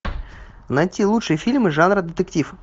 найти лучшие фильмы жанра детектив